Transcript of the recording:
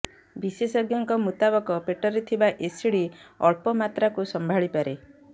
ବିଶେଷଜ୍ଞଙ୍କ ମୁତାବକ ପେଟରେ ଥିବା ଏସିଡ଼ ଅଳ୍ପ ମାତ୍ରାକୁ ସମ୍ଭାଳିପାରେ